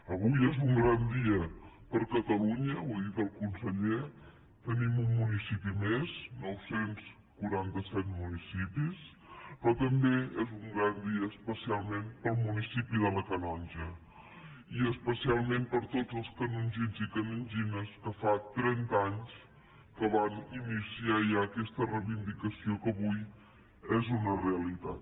avui és un gran dia per a catalunya ho ha dit el conseller tenim un municipi més nou cents i quaranta set municipis però també és un gran dia especialment per al municipi de la canonja i especialment per a tots els canongins i canongines que fa trenta anys que van iniciar ja aquesta reivindicació que avui és una realitat